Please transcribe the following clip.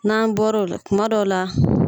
N'an bɔra o la kuma dɔ la